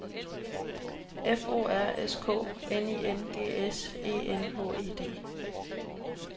F O R S K N I N G S E N H E D